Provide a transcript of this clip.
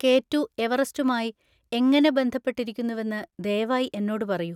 K two എവറസ്റ്റുമായി എങ്ങനെ ബന്ധപ്പെട്ടിരിക്കുന്നുവെന്ന് ദയവായി എന്നോട് പറയൂ.